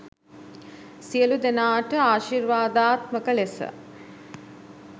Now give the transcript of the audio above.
සියලු දෙනාට ආශිර්වාදාත්මක ලෙස